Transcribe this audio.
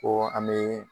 Ko an bɛ